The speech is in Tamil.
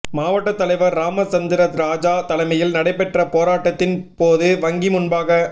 மாவட்டத் தலைவா் ராமச்சந்திரராஜா தலைமையில் நடைபெற்ற போராட்டத்தின் போது வங்கி முன்பாக